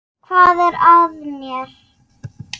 Hvað er að mér?